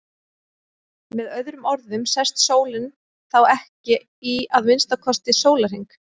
Með öðrum orðum sest sólin þá ekki í að minnsta kosti sólarhring.